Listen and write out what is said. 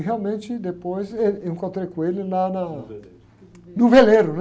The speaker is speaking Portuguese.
E realmente, depois, êh, eu encontrei com ele lá na... o veleiro.o veleiro, né?